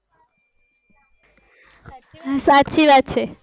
સાચી વાત છે